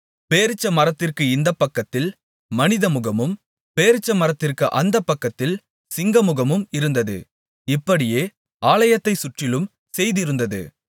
பேரீச்சமரத்திற்கு இந்தபக்கத்தில் மனிதமுகமும் பேரீச்சமரத்திற்கு அந்த பக்கத்தில் சிங்கமுகமும் இருந்தது இப்படியே ஆலயத்தைச் சுற்றிலும் செய்திருந்தது